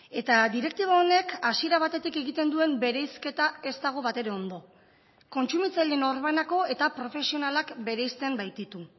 eta direktiba honek hasiera batetik egiten duen bereizketa ez dago batere ondo kontsumitzaileen norbanako eta profesionalak bereizten baititu